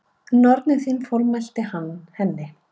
Nornin þín formælti hann henni.